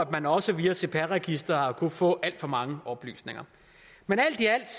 man også via cpr registeret har kunnet få alt for mange oplysninger men alt i alt